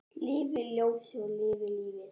Lifi ljósið og lifi lífið!